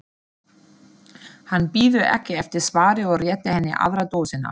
Hann bíður ekki eftir svari og réttir henni aðra dósina.